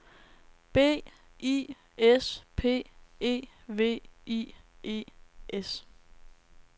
B I S P E V I E S